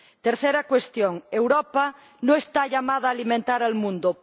Tercera cuestión Europa no está llamada a alimentar al mundo.